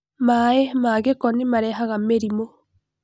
Maĩ ma gĩko nĩmarehaga mĩrimũ.